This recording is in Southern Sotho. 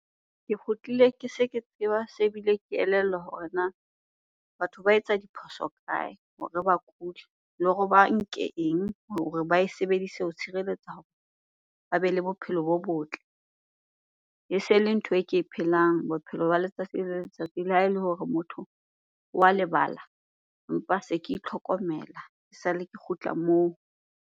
Ke kgutlile ke se ke tseba, se bile ke elellwa hore na batho ba etsa diphoso kae hore ba kule. Le hore ba nke eng hore ba e sebedise ho tshireletsa hore ba bele bophelo bo botle. E se le ntho e ke e phelang bophelo ba letsatsi le letsatsi le ha ele hore motho wa lebala. Empa se ke itlhokomela esale ke kgutla moo.